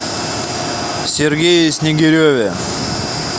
сергее снегиреве